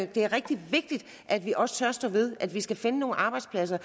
det er rigtig vigtigt at vi også tør stå ved at vi skal finde nogle arbejdspladser